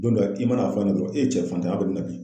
Don dɔ la i mana a fɔ a ɲɛna a cɛ fantanya kɔni na bi.